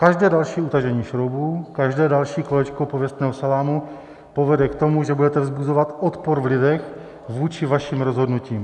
Každé další utažení šroubů, každé další kolečko pověstného salámu povede k tomu, že budete vzbuzovat odpor v lidech vůči vašim rozhodnutím.